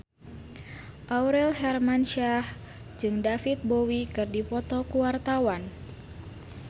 Aurel Hermansyah jeung David Bowie keur dipoto ku wartawan